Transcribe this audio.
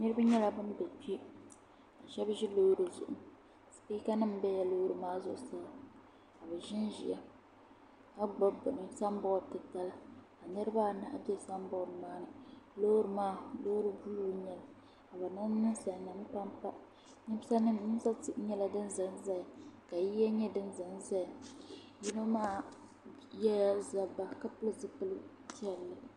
niriba nyɛla ban bɛ kpɛ shɛbi ʒɛ lori zuɣ' tuutanim bɛla lori maa zuɣ' saa ka bɛ ʒɛn ʒɛya ka gbabi bɛni samibɔdi titali ka niribaanahi bɛ samibɔdi maa ni niriba maa nyɛla nisalinim pam situsi nyɛla din zan zaya ka yiliya nyɛ din zan zaya yino maa yɛla zaba ka pɛli